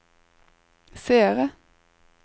seere